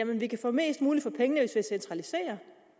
vi kan få mest muligt for pengene hvis vi centraliserer